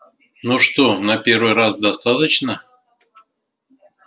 ну что на первый раз достаточно